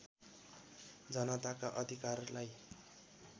जनताका अधिरकारलाई